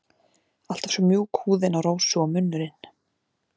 Alltaf svo mjúk húðin á Rósu og munnurinn.